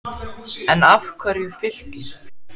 En af hverju Fylkir?